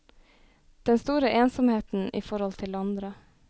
Den store ensomheten i forhold til andre.